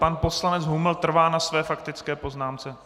Pan poslanec Huml trvá na své faktické poznámce?